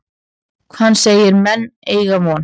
Hann segir menn eygja von.